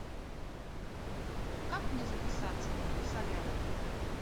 как мне записаться в солярий